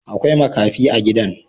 Akwai makafi a gidan